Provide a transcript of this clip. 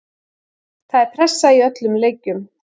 Það er pressa í öllum leikjum.